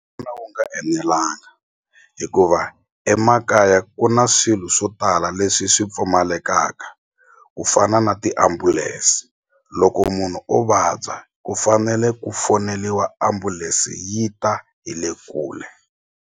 wu nga enelanga hikuva emakaya ku na swilo swo tala leswi swi pfumalekaka ku fana na tiambulense loko munhu o vabya ku fanele ku foneliwa ambulense yi ta hi le kule.